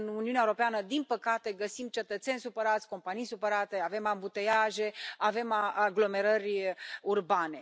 Încă în Uniunea Europeană, din păcate, găsim cetățeni supărați, companii supărate, avem ambuteiaje, avem aglomerări în mediul urban.